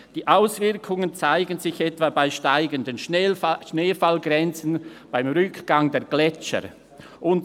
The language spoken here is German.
Die Auswirkungen zeigen sich etwa bei steigenden Schneefallgrenzen, dem Rückgang der Gletscher […].